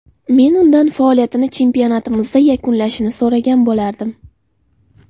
Men undan faoliyatini chempionatimizda yakunlashini so‘ragan bo‘lardim.